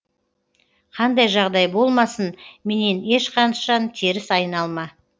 қандай жағдай болмасын менен ешқашан теріс айналма